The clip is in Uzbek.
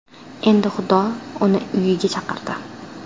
Endi xudo uni uyiga chaqirdi.